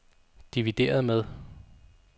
divideret med